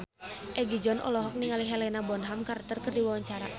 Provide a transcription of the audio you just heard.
Egi John olohok ningali Helena Bonham Carter keur diwawancara